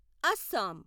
Assam